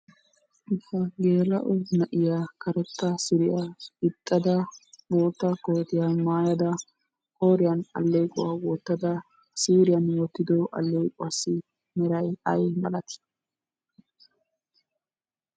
Geela'o na'iya karettaa suriya gixxada boottaa kootiya maayada qooriyan alleequwa wottada siiriyan wottiddo alleequwaassi meray ay malati?